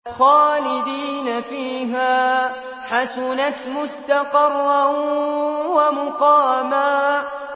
خَالِدِينَ فِيهَا ۚ حَسُنَتْ مُسْتَقَرًّا وَمُقَامًا